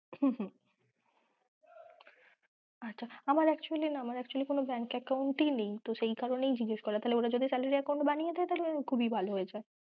হম হম আচ্ছা! আমার actually না, আমার actually কোনো bank account নেই, সেই কারণেই জিগাস করা, তাহলে ওরা যদি account বানিয়ে দেয় তাহলে খুব এ ভালো হয়েছে।